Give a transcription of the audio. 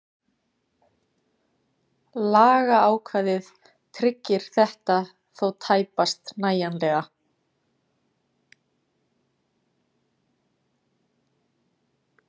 Lagaákvæðið tryggir þetta þó tæpast nægjanlega.